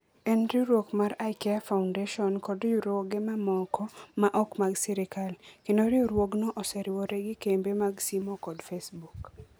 En riwruok mar IKEA Foundation kod riwruoge mamoko ma ok mag sirkal, kendo riwruogno oseriwore gi kembe mag simo kod Facebook.